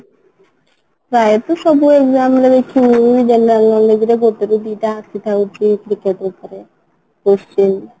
ପ୍ରାୟ ତ ସବୁ exam ରେ ହିଁ general knowledge ରେ ଗୋଟେ କି ଦି ଟା ଆସିଥାଉଛି cricket ଉପରେ question